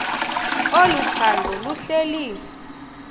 olu phando luhleli